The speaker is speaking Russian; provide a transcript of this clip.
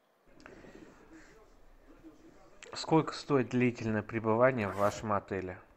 сколько стоит длительное пребывание в вашем отеле